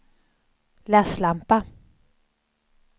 läslampa